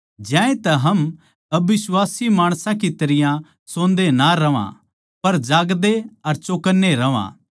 ज्यांतै हम अबिश्वासी माणसां की तरियां सोन्दे ना रहवां पर जागदे अर चौकन्ने रहवां